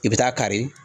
I bɛ taa kari